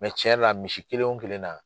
tiɲɛ yɛrɛ la misi kelen wo kelen na.